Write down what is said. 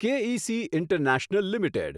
કે E C international limited